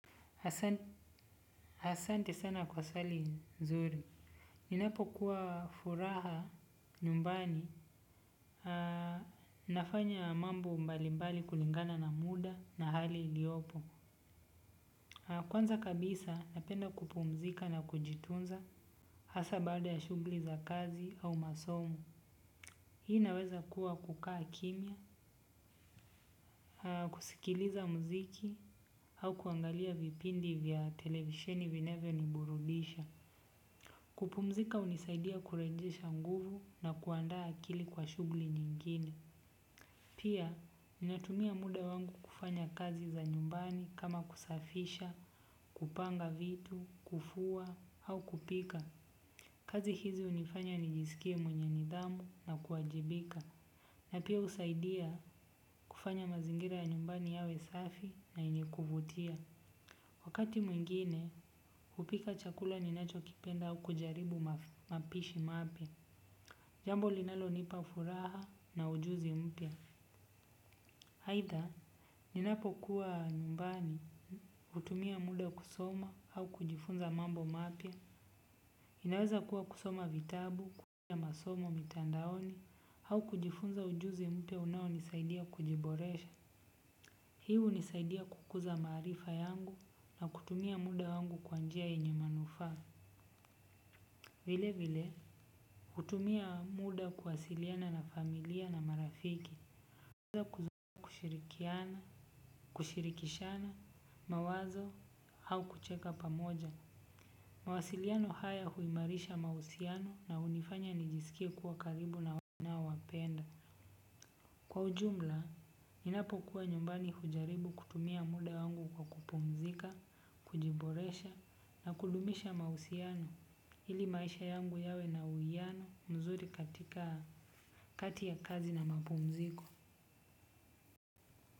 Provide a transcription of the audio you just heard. Asante sana kwa swali nzuri. Ninapokuwa furaha nyumbani nafanya mambo mbalimbali kulingana na muda na hali iliyopo. Kwanza kabisa napenda kupumzika na kujitunza hasa baada ya shughuli za kazi au masomo. Hii inaweza kuwa kukaa kimya kusikiliza muziki au kuangalia vipindi vya televisheni vinayoniburudisha. Kupumzika hunisaidia kurejesha nguvu na kuandaa akili kwa shughuli nyingine. Pia ninatumia muda wangu kufanya kazi za nyumbani kama kusafisha, kupanga vitu, kufua au kupika. Kazi hizi hunifanya nijisikie mwenye nidhamu na kuwajibika. Na pia husaidia kufanya mazingira ya nyumbani yawe safi na yenye kuvutia wakati mwingine hupika chakula ninachokipenda au kujaribu mapishi mapya. Jambo linalonipa furaha na ujuzi mpya. Aitha, ninapokuwa numbani, hutumia muda kusoma, au kujifunza mambo mapya. Inaweza kuwa kusoma vitabu, kujifunza masomo mitandaoni, au kujifunza ujuzi mpya unaonisaidia kujiboresha. Hii hunisaidia kukuza maarifa yangu na kutumia muda wangu kwa njia yenye manufaa. Vile vile, hutumia muda kuwasiliana na familia na marafiki. Huweza kushirikiana, kushirikishana mawazo au kucheka pamoja. Mawasiliano haya huimarisha mahusiano na hunifanya nijisikie kuwa karibu na ninaowapenda. Kwa ujumla, ninapokuwa nyumbani hujaribu kutumia muda wangu kwa kupumzika, kujiboresha, na kudumisha mahusiano, ili maisha yangu yawe na uwiano mzuri katika kati ya kazi na mapumziko.